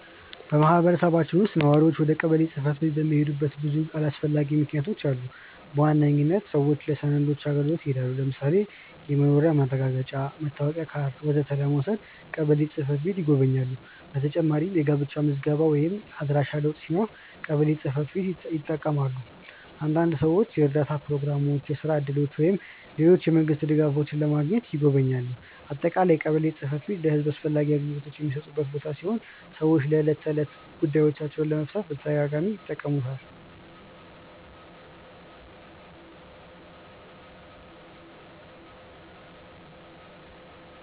በማህበረሰባችን ውስጥ ነዋሪዎች ወደ ቀበሌ ጽ/ቤት የሚሄዱባቸው ብዙ አስፈላጊ ምክንያቶች አሉ። በዋነኝነት ሰዎች ለሰነዶች አገልግሎት ይሄዳሉ። ለምሳሌ የመኖሪያ ማረጋገጫ፣ መታወቂያ ካርድ ወዘተ ለመውሰድ ቀበሌ ጽ/ቤት ይጎበኛሉ። በተጨማሪም የጋብቻ ምዝገባ ወይም የአድራሻ ለውጥ ሲኖር ቀበሌ ጽ/ቤትን ይጠቀማሉ። አንዳንድ ሰዎች የእርዳታ ፕሮግራሞች፣ የስራ እድሎች ወይም ሌሎች የመንግስት ድጋፎች ለማግኘትም ይጎበኛሉ። በአጠቃላይ ቀበሌ ጽ/ቤት ለህዝብ አስፈላጊ አገልግሎቶችን የሚሰጥ ቦታ ሲሆን ሰዎች ዕለታዊ ጉዳዮቻቸውን ለመፍታት በተደጋጋሚ ይጠቀሙበታል።